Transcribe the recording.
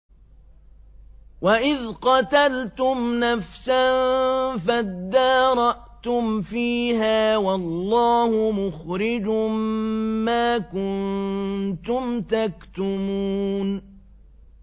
وَإِذْ قَتَلْتُمْ نَفْسًا فَادَّارَأْتُمْ فِيهَا ۖ وَاللَّهُ مُخْرِجٌ مَّا كُنتُمْ تَكْتُمُونَ